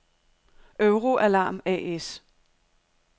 Euro-Alarm A/S